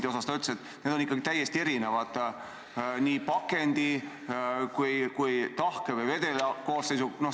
Ta ütles, et need kaubad on ikkagi täiesti erinevad nii pakendi kui ka selle poolest, kas tegu tahke või vedela koostisega.